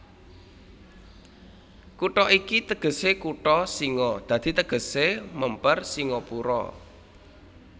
Kutha iki tegesé kutha singa dadi tegesé mèmper Singapura